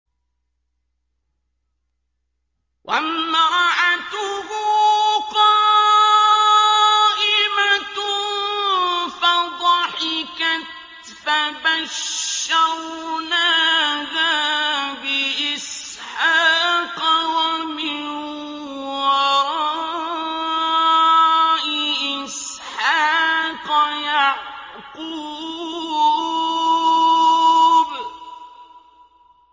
وَامْرَأَتُهُ قَائِمَةٌ فَضَحِكَتْ فَبَشَّرْنَاهَا بِإِسْحَاقَ وَمِن وَرَاءِ إِسْحَاقَ يَعْقُوبَ